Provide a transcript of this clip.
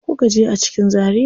Ina kuka je a cikin Zaria?